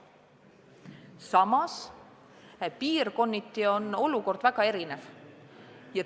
Samas, piirkonniti on olukord väga erinev.